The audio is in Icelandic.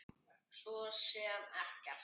Svo sem ekkert.